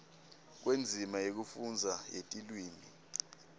kwendzima yekufundza yetilwimi